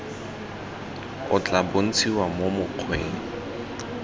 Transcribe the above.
o tla bontshiwa mo mokgweng